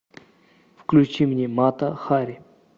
включи мне мата хари